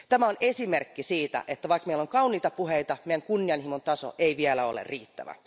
Tämä on esimerkki siitä, että vaikka meillä on kauniita puheita, meidän kunnianhimon taso ei vielä ole riittävä.